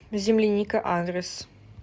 земляника адрес